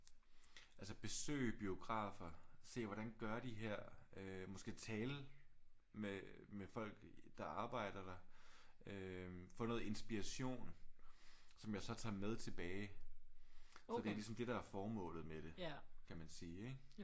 Altså besøge biografer. Se hvordan gør de her. Øh måske tale med med folk der arbejder der. Øh få noget inspiration som jeg så tager med tilbage. Så det er ligesom det der er formålet med det. Kan man sige ik?